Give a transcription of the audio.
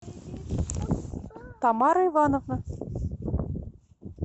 тамара ивановна